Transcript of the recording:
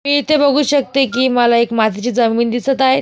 मी इथे बघू शकते की मला एक मातीची जमीन दिसत आहे.